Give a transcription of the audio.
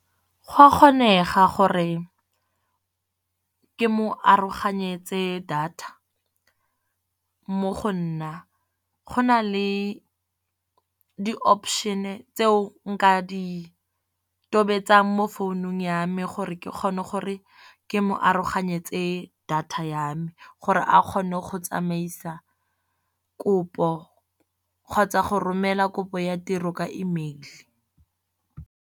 Go a kgonega gore ke mo aroganyetse data. Mo go nna go na le di-option tseo nka di tobetsang mo founung ya me, gore ke kgone gore ke mo aroganyetse data yame. Gore a kgone go tsamaisa kopo kgotsa go romela kopo ya tiro ka email.